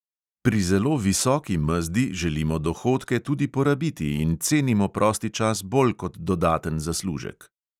Pri zelo visoki mezdi želimo dohodke tudi porabiti in cenimo prosti čas bolj kot dodaten zaslužek.